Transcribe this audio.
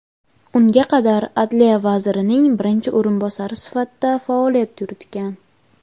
unga qadar Adliya vazirining birinchi o‘rinbosari sifatida faoliyat yuritgan.